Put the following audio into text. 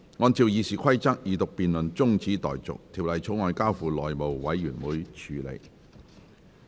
按照《議事規則》，二讀辯論中止待續，《條例草案》交付內務委員會處理。